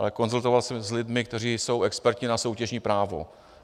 Ale konzultoval jsem to s lidmi, kteří jsou experty na soutěžní právo.